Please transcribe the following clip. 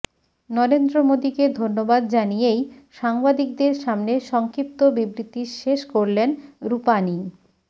নরেন্দ্র মোদীকে ধন্যবাদ জানিয়েই সাংবাদিকদের সামনে সংক্ষিপ্ত বিবৃতি শেষ করলেন রূপাণী